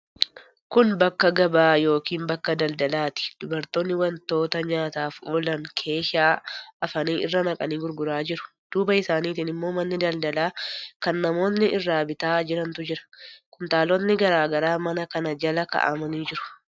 Kun bakka gabaa yookiin bakka daldalaati. Dubartoonni wantoota nyaataaf oolan keeshaa hafanii, irra naqanii gurguraa jiru. Duuba isaaniitiin immoo manni daldalaa kan namootni irraa bitaa jirantu jira. Kuntaalotni garaa garaa mana kana jala kaa'amanii jiru.